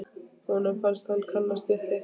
Honum fannst hann kannast við þig.